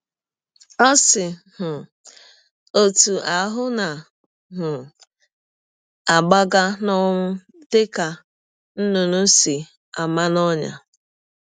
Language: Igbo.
Ọ si um ọtụ ahụ na um - agbaga n’ọnwụ dị ka nnụnụ si ama n’ọnyà!